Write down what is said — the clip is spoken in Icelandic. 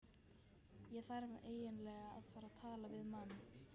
Ég þarf eiginlega að fara og tala við mann.